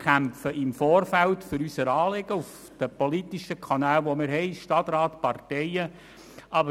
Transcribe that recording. Wir kämpfen im Vorfeld auf den politischen Kanälen, die wir haben, für unsere Anliegen, also im Stadtrat, in den Parteien und so weiter.